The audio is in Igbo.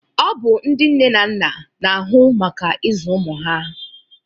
Ọ bụ ndị nne na nna na-ahụ maka ịzụ ụmụ ha